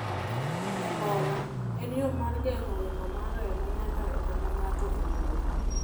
Embola en yo mar geng'o ringo mar remo nyaka e kama ng'ato ogolo.